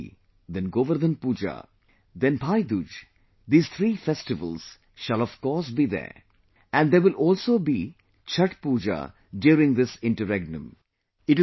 Diwali, then Govardhan Puja, then Bhai Dooj, these three festivals shall of course be there and there will also be Chhath Puja during this interregnum